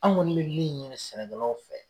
An kɔni bɛ min ɲini sɛnɛkɛlaw fɛ